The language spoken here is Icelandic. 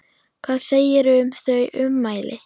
Hvað segirðu um þau ummæli?